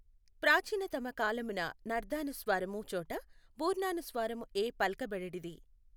ప్రాచీనతమ కాలమున నర్థానుస్వారము చోట బూర్ణానుస్వారమఏ పల్కబడేడిది.